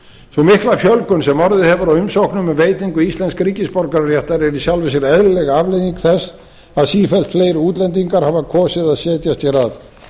sú mikla fjölgun sem orðið hefur á umsóknum um veitingu íslensks ríkisborgararéttar er í sjálfu sér eðlileg afleiðing þess að sífellt fleiri útlendingar hafa kosið að setjast hér að